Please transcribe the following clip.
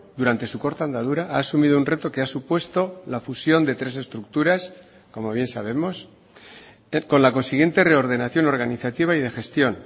durante su corta andadura ha asumido un reto que ha supuesto la fusión de tres estructuras como bien sabemos con la consiguiente reordenación organizativa y de gestión